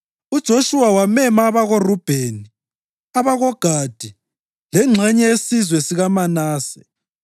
UJoshuwa wamema abakoRubheni, abakoGadi lengxenye yesizwe sikaManase